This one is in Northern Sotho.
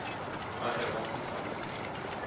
ba ge ba se sa